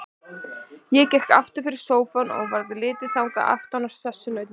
Ég gekk aftur fyrir sófann og varð litið þaðan aftan á sessunauta mína.